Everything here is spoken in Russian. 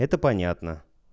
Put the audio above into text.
это понятно